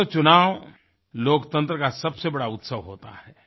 दोस्तों चुनाव लोकतंत्र का सबसे बड़ा उत्सव होता है